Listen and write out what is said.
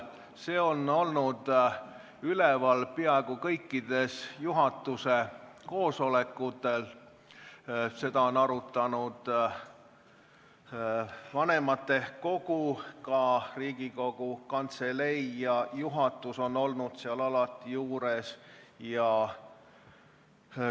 See on olnud üleval peaaegu kõikidel juhatuse koosolekutel, seda on arutanud vanematekogu, ka Riigikogu Kantselei ja juhatus on alati seal juures olnud.